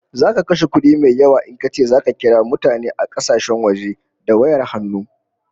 Zaka kashe kudi mai yawa in kace zaka kira mutane a kasashen waje da wayar hannu